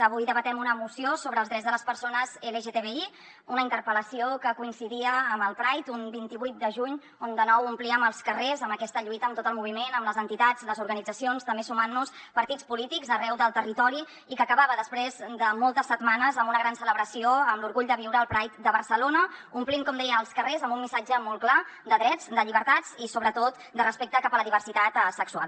avui debatem una moció sobre els drets de les persones lgtbi una interpel·lació que coincidia amb el pride un vint vuit de juny on de nou omplíem els carrers amb aquesta lluita amb tot el moviment amb les entitats les organitzacions també sumant nos partits polítics arreu del territori i que acabava després de moltes setmanes amb una gran celebració amb l’orgull de viure el pride de barcelona omplint com deia els carrers amb un missatge molt clar de drets de llibertats i sobretot de respecte cap a la diversitat sexual